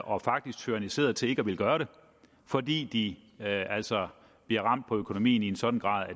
og faktisk tyranniseret til ikke at ville gøre det fordi de altså bliver ramt på økonomien i en sådan grad at